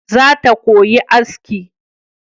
Zata koyi aski